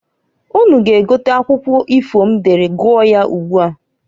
Unu ga egote akwụkwọ ifo m dere gụọ ya ugbua.